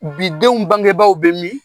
Bi denw bangebaw bɛ min?